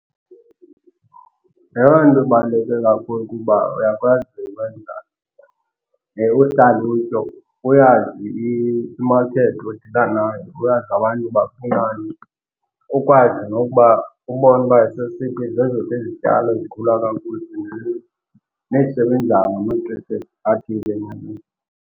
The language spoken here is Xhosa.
Eyona nto ibaluleke kakhulu kukuba uyakwazi ukwenza uhlalutyo, uyazi imakethi odila nayo, uyazi abantu bafunani ukwazi nokuba ubone uba sesiphi, zeziphi izizityalo ezikhula kakhuhle nezisebenzayo ngamaxesha athile enyakeni.